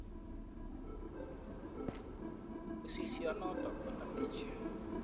Usisionotok ko lembech.